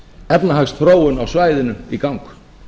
efnahagsþróun á svæðinu í gang